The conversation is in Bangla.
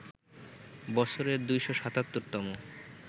বছরের ২৭৭ তম